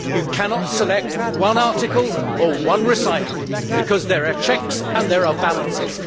You cannot select one article or one recital because there are checks and balances.